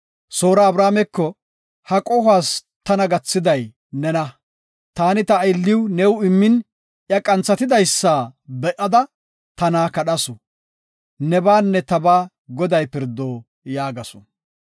Soora Abrameko, “Ha qohuwas tana gathiday nena; taani ta aylliw new immin, iya qanthatidysa be7ada tana kadhawusu. Nebaanne tabaa Goday pirdo” yaagasu.